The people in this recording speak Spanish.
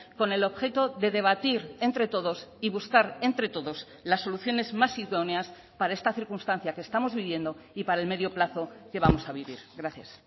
con el objeto de debatir entre todos y buscar entre todos las soluciones más idóneas para esta circunstancia que estamos viviendo y para el medio plazo que vamos a vivir gracias